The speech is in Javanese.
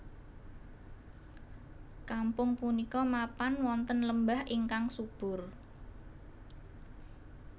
Kampung punika mapan wonten lembah ingkang subur